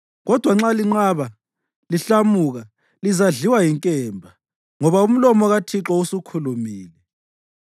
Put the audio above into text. kodwa nxa linqaba, lihlamuka, lizadliwa yinkemba.” Ngoba umlomo kaThixo usukhulumile.